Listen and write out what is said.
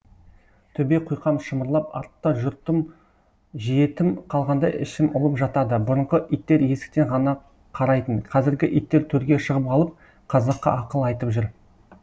төбе құйқам шымырлап артта жұртым жетім қалғандай ішім ұлып жатады бұрынғы иттер есіктен ғана қарайтын қазіргі иттер төрге шығып алып қазаққа ақыл айтып жүр